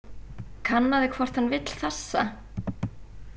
Kannaðu hvort hann vill þessa.